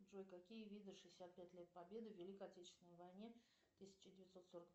джой какие виды шестьдесят пять лет победы в великой отечественной войне тысяча девятьсот сорок